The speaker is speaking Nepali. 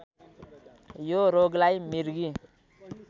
यो रोगलाई मृगी